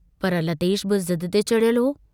पर लतेश बि ज़िद ते चढ़ियलु हो।